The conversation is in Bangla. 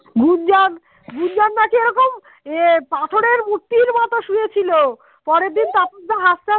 গুঞ্জন গুঞ্জন নাকি ওরকম এ পাথরে মূর্তির মতো শুয়েছিল পরের দিন তাপসদা হাসতে হাসতে